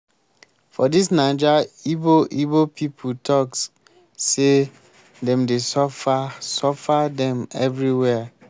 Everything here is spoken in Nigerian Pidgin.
for dis naija ibo ibo pipu talk sey dem dey suffer suffer dem everywhere.